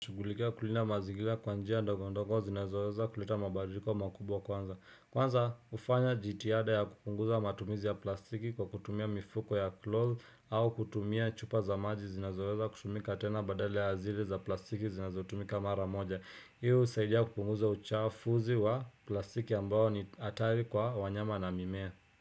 Kushughulikia kulinda mazingira kwa njia ndogondogo zinazoweza kuleta mabadiliko makubwa kwanza. Kwanza, hufanya jitihada ya kupunguza matumizi ya plastiki kwa kutumia mifuko ya cloth au kutumia chupa za maji zinazoweza kutumika tena badala ya zile za plastiki zinazotumika mara moja. Hi husaidia kupunguza uchafuzi wa plastiki ambayo ni hatari kwa wanyama na mimea.